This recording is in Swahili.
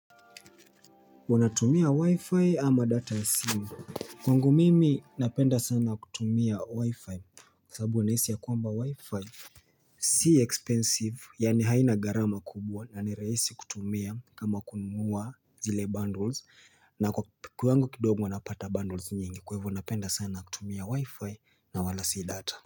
Wanatumia wi-fi ama data ya simu. Kwangu mimi napenda sana kutumia wi-fi sababu nahisi ya kwamba wi-fi. Si expensive, yaani haina gharama kubwa na ni rahisi kutumia kama kununa zile bundles na kwa kiwango kidogo huwa napata bundles nyingi kwa hivyo napenda sana kutumia wi-fi na wala si data.